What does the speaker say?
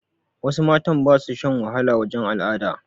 Wasu matan ba su shan wahala wajen al'ada